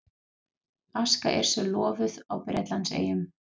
Aska Yrsu lofuð á Bretlandseyjum